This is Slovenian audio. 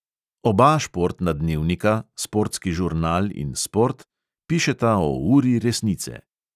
Oba športna dnevnika, sportski žurnal in sport, pišeta o uri resnice.